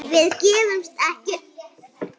Við gefumst ekkert upp.